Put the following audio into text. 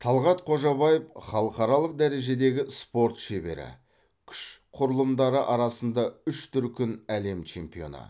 талғат қожабаев халықаралық дәрежедегі спорт шебері күш құрылымдары арасында үш дүркін әлем чемпионы